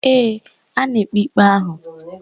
Ee, a na-ekpe ikpe ahụ